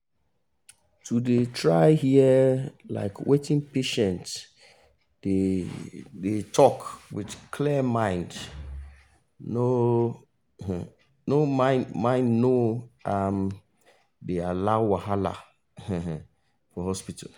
to dey try hear um wetin patient dey dey talk wit clear mind no um mind no um dey allow wahala um for hospital.